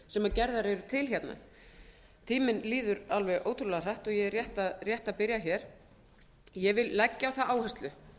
sem gerðar eru til tíminn líður alveg ótrúlega hratt og ég er rétt að byrja ég vil leggja á það áherslu